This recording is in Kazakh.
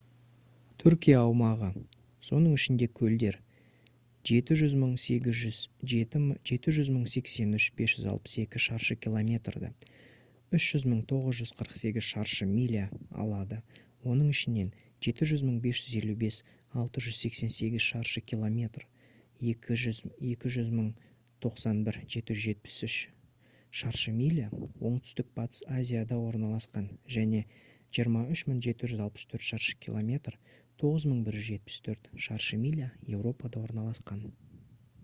түркия аумағы соның ішінде көлдер 783 562 шаршы километрді 300 948 шаршы миля алады оның ішінен 755 688 шаршы километр 291 773 шаршы миля оңтүстік батыс азияда орналасқан және 23 764 шаршы километр 9174 шаршы миля еуропада орналасқан